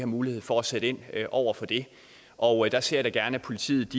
mulighed for at sætte ind over for det og der ser jeg da gerne at politiet